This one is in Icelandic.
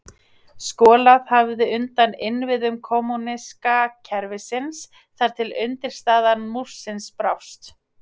skolað hafði undan innviðum kommúníska kerfisins þar til undirstaða múrsins brást